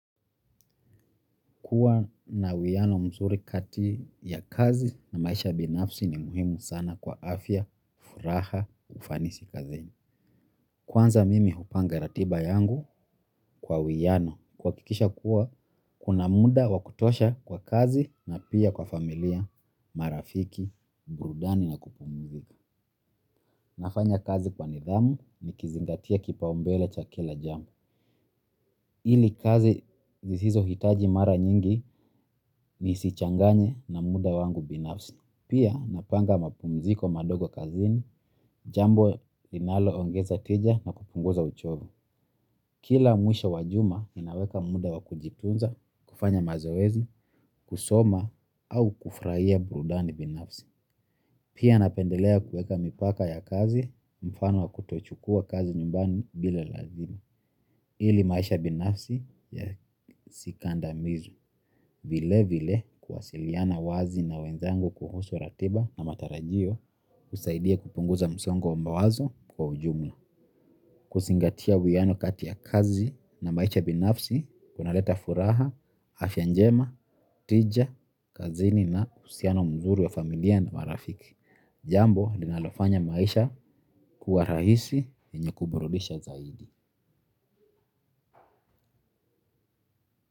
Kuwa na uwiyano msuri kati ya kazi na maisha binafsi ni muhimu sana kwa afya, furaha, ufanisi kazini. Kwanza mimi hupanga ratiba yangu kwa uwiyano kwakikisha kuwa kuna muda wakutosha kwa kazi na pia kwa familia, marafiki, burudani na kupumumzika. Nafanya kazi kwa nidhamu ni kizingatia kipaombele cha kila jamu. Ili kazi zizizo hitaji mara nyingi ni sichanganye na muda wangu binafsi. Pia napanga mapumziko madogo kazini, jambo linalo ongeza tija na kupunguza uchovu. Kila mwisho wajuma ninaweka muda wa kujitunza, kufanya mazoezi, kusoma au kufraia burudani binafsi. Pia napendelea kueka mipaka ya kazi, mfano wa kutochukua kazi nyumbani bile lazima. Ili maisha binafsi ya sikandamizwe vile vile kwasiliana wazi na wenzangu kuhusu ratiba na matarajio kusaidia kupunguza msongo mawazo kwa ujumla. Kusingatia wiyano katia kazi na maisha binafsi kuna leta furaha, afyanjema, tija, kazini na usiano mzuri wa familia na marafiki. Jambo linalofanya maisha kuwa rahisi enye kuburulisha zaidi.